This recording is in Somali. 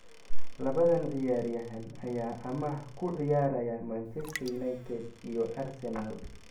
Labadan ciyaaryahan ayaa amaah ku ciyaaraya Manchester United iyo Arsenal.